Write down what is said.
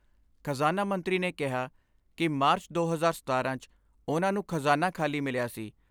ਖ਼ਜ਼ਾਨਾ ਮੰਤਰੀ ਨੇ ਕਿਹਾ ਕਿ ਮਾਰਚ ਦੋ ਹਜ਼ਾਰ ਸਤਾਰਾਂ 'ਚ ਉਨ੍ਹਾਂ ਨੂੰ ਖ਼ਜ਼ਾਨਾ ਖਾਲੀ ਮਿਲਿਆ ਸੀ।